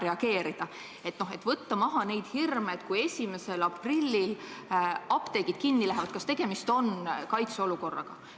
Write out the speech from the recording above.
Et teatud hirme maha võtta, küsin ka, et kui 1. aprillil apteegid kinni lähevad, kas siis on tegemist kaitseolukorraga.